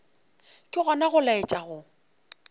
ke gona go laetša go